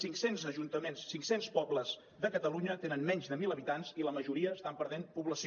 cinc cents ajuntaments cinc cents pobles de catalunya tenen menys de mil habitants i la majoria estan perdent població